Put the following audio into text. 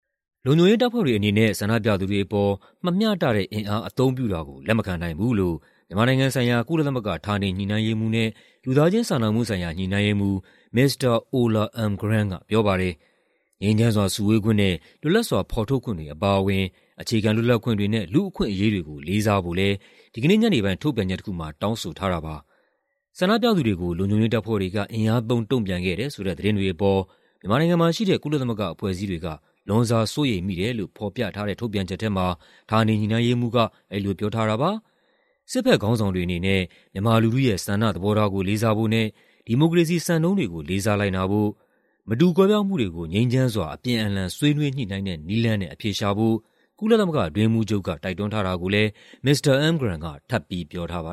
လုံခြုံရေးတပ်ဖွဲ့တွေအနေနဲ့ ဆန္ဒပြသူတွေအပေါ် မမျှတတဲ့အင်အား အသုံးပြုတာကို လက်မခံနိုင်ဘူးလို့မြန်မာနိုင်ငံဆိုင်ရာ ကုလသမဂ္ဂ ဌာနေညှိနှိုင်းရေးမှူးနဲ့ လူသားချင်းစာနာမှုဆိုင်ရာ ညှိနှိုင်းရေးမှူး Mr. Ola Almgren ကပြောပါတယ်။ ငြိမ်းချမ်းစွာစုဝေးခွင့်နဲ့ လွတ်လပ်စွာ ဖော်ထုတ်ခွင့်တွေအပါအဝင် အခြေခံ လွတ်လပ်ခွင့်တွေနဲ့ လူ့အခွင့်အရေးတွေကို လေးစားဖို့လည်း ဒီကနေ့ညနေပိုင်း ထုတ်ပြန်ချက်တခုမှာ တောင်းဆိုထားပါတယ်။ ဆန္ဒပြသူတွေကို လုံခြုံရေးတပ်ဖွဲ့တွေက အင်အားသုံး တုံပြန်ခဲ့တယ်ဆိုတဲ့ သတင်းတွေအပေါ် မြန်မာနိုင်ငံမှာရှိတဲ့ ကုလသမဂ္ဂအဖွဲ့အစည်းတွေက လွန်စွာစိုးရိမ်မိတယ်လို့ ဖော်ပြထားတဲ့ ထုတ်ပြန်ချက်ထဲမှာ ဌာနေညှိနှိုင်းရေးမှူးက အဲဒီလိုပြောထားတာပါ။ စစ်ဘက်ခေါင်းဆောင်တွေအနေနဲ့ မြန်မာလူထုရဲ့ဆန္ဒသဘောထားကို လေးစားဖို့နဲ့ ဒီမိုကရေစီစံနှုန်းတွေကို လေးစားလိုက်နာဖို့၊ မတူကွဲပြားမှုတွေကို ငြိမ်းချမ်းစွာ အပြန်အလှန် ဆွေးနွေးညှိနှိုင်းတဲ့နည်းလမ်းနဲ့ အဖြေရှာဖို့ ကုလသမဂ္ဂအတွင်းရေးမှူးချုပ်က တိုက်တွန်းထားတာကိုလည်း မစ္စတာ Almgren က ထပ်ပြီး ပြောထားပါ